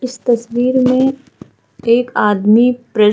इस तस्वीर में एक आदमी प्रे --